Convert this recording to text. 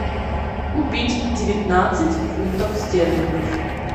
купить девятнадцать фунтов стерлингов